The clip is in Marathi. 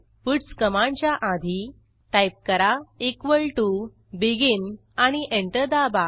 पट्स कमांडच्या आधी टाईप करा इक्वॉल टीओ बेगिन आणि एंटर दाबा